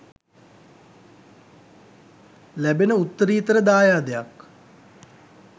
ලැබෙන උත්තරීතර දායාදයක්.